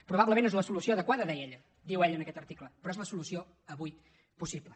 probablement no és la solució adequada deia ella diu ella en aquest article però és la solució avui possible